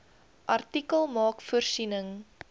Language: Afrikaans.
artikel maak voorsiening